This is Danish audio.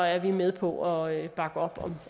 er vi med på at bakke op